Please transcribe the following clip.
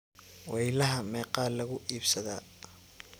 Weylaxa meqaa laku iibsadha.